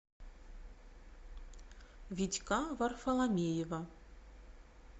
витька варфоломеева